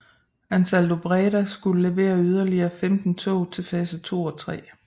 AnsaldoBreda skulle levere yderligere 15 tog til fase 2 og 3